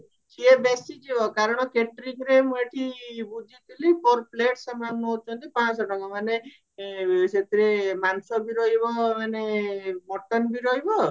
ସିଏ ବେଶି ଯିବ କାରଣ ମୁଁ ଏଠି ବୁଝିଥିଲି for plate ନଉଛନ୍ତି ପାଁଶହ ଟଙ୍କା ସେଥିରେ ମାଂସ ବି ରହିବା ମାନେ mutton ବି ରହିବ